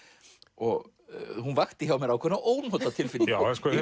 og hún vakti hjá mér ákveðna ónotatilfinningu